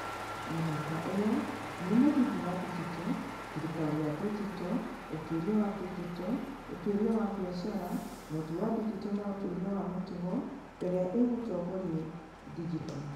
Mĩhaka ĩyo nĩ mũthingi wa digito, thirikari ya digito, ũtuĩria wa digito, ũtuĩria wa biacara, ũhoti wa digito na ũtuĩria wa mĩtugo ĩrĩa ĩgũtongoria digito.